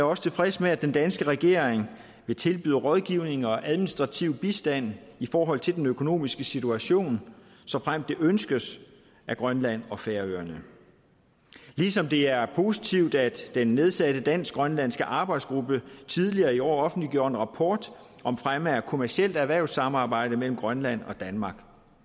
også tilfreds med at den danske regering vil tilbyde rådgivning og administrativ bistand i forhold til den økonomiske situation såfremt det ønskes af grønland og færøerne ligesom det er positivt at den nedsatte dansk grønlandske arbejdsgruppe tidligere i år offentliggjorde en rapport om fremme af kommercielt erhvervssamarbejde mellem grønland og danmark